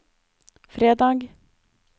fredag